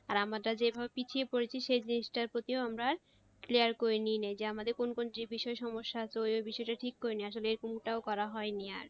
আর আমরা যেভাবে পিছিয়ে পড়েছি সেভাবে সেই জিনিসটার প্রতি ও আমরা আর clear করে নেই নাই যে আমাদের কোন কোন বিষয়ের প্রতি সমস্যা এতো কোন কোন বিষয়টা ঠিক করে নেই আসলে এরকম টাও করা হয়নি আর